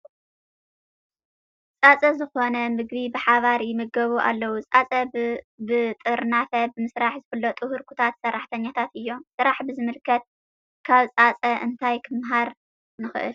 ፃፀ ዝኾነ ምግቢ ብሓባር ይምገቡ ኣለዉ፡፡ ፃፀ ብጥርናፈ ብምስራሕ ዝፍለጡ ህርኩታት ሰራሕተኛታት እዮም፡፡ ስራሕ ብዝምልከት ካብ ፃፀ እንታይ ክንመሃር ንኽእል?